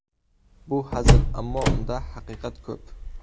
Bu hazil, ammo unda haqiqat ko‘p.